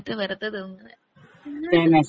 വെറുതെന്തിനാ കഴിച്ചിട്ട് വെറുതെ തിന്നണെ പിന്നെ